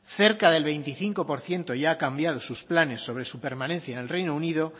cerca del veinticinco por ciento ya ha cambiado sus planes sobre su permanencia en el reino unido